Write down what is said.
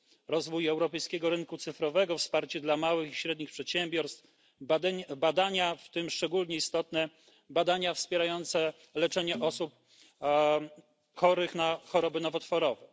rozwój europejskiego rynku cyfrowego, wsparcie dla małych i średnich przedsiębiorstw, badania, w tym szczególnie istotne badania wspierające leczenie osób chorych na choroby nowotworowe.